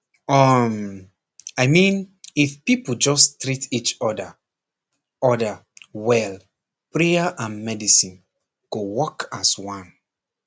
um i mean if people just treat each other other well prayer and medicine go work as one